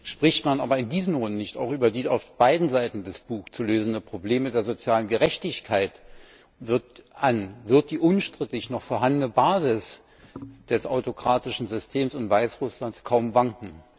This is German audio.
Spricht man aber in diesen Runden nicht die auf beiden Seiten des Bug zu lösenden Probleme der sozialen Gerechtigkeit an, wird die unstrittig noch vorhandene Basis des autokratischen Systems in Weißrussland kaum wanken.